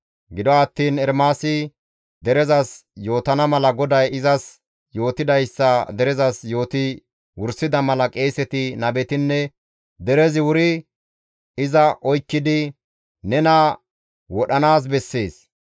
Gido attiin Ermaasi derezas yootana mala GODAY izas yootidayssa derezas yooti wursida mala qeeseti, nabetinne derezi wuri iza oykkidi, «Nena wodhanaas bessees!